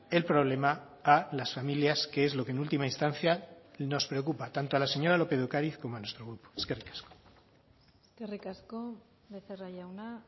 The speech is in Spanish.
el problema a las familias que es lo que en última instancia nos preocupa tanto a la señora lópez de ocariz como a nuestro grupo eskerrik asko eskerrik asko becerra jauna